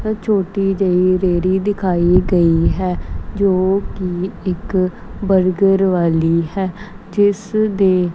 ਅ ਛੋਟੀ ਜਿਹੀ ਰੇਹੜੀ ਦਿਖਾਈ ਗਈ ਹੈ ਜੋ ਕਿ ਇੱਕ ਬਰਗਰ ਵਾਲੀ ਹੈ ਜਿਸ ਦੇ --